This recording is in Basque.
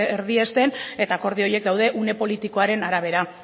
erdiesten eta akordio horiek daude une politikoaren arabera